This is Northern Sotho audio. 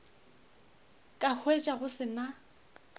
ka hwetša go se na